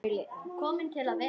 Komin til að vera?